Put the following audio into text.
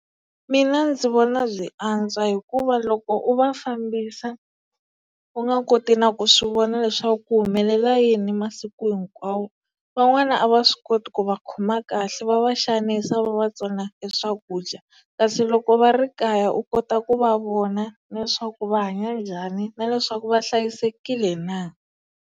Mina ndzi vona byi antswa, hikuva loko u va fambisa u nga koti na ku swi vona leswaku ku humelela yini masiku hinkwawo van'wana a va swi koti ku va khoma kahle va va xavisa va va tsona e swakudya kasi loko va ri kaya u kota ku va vona na leswaku va hanya njhani na leswaku va hlayisekile na.